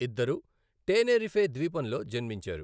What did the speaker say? ఇద్దరు టేనేరిఫే ద్వీపంలో జన్మించారు.